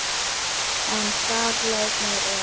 En þarna leið mér vel.